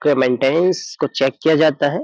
के मेंटेनेंस को चेक किया जाता है।